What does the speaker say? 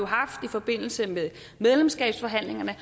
haft i forbindelse med medlemskabsforhandlingerne